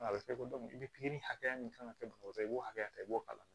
A bɛ kɛ ko ni pikiri hakɛya min kan ka kɛ bɔgɔ i b'o hakɛ